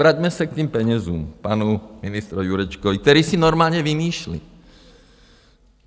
Vraťme se k těm penězům, panu ministru Jurečkovi, který si normálně vymýšlí.